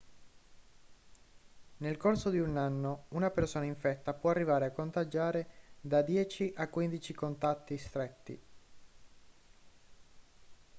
nel corso di un anno una persona infetta può arrivare a contagiare da 10 a 15 contatti stretti